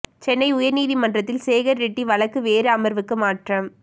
சென்னை உயர் நீதிமன்றத்தில் சேகர் ரெட்டி வழக்கு வேறு அமர்வுக்கு மாற்றம்